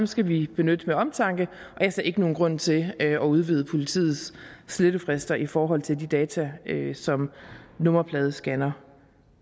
skal vi benytte med omtanke og jeg ser ikke nogen grund til at udvide politiets slettefrister i forhold til de data som nummerpladescannere